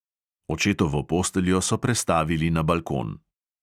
Očetovo posteljo so prestavili na balkon.